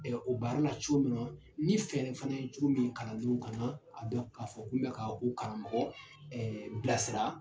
Ɛɛ o b'anw na cogo min na ,ni fɛɛrɛ fɛnɛ ye cogo min kalandenw kan na ka dɔn ka fɔ k'u be ka u karamɔgɔ bila sira.